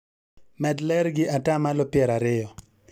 Med ler gi atamalo piero ariyo